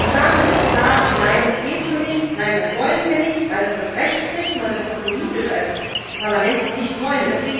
Sagen wir es klar Nein, das geht so nicht! Nein, das wollen wir nicht, weil das das Recht bricht und weil wir das auch politisch als Parlament nicht wollen.